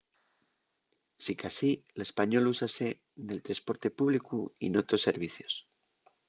sicasí l'español úsase nel tresporte públicu y n'otros servicios